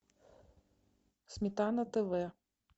сметана тв